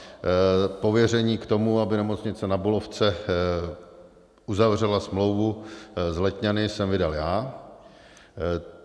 Pověření k tomu, aby Nemocnice Na Bulovce uzavřela smlouvu s Letňany, jsem vydal já.